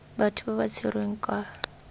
batho ba ba tshwerweng kwa